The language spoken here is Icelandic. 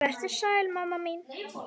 Vertu sæl, mamma mín.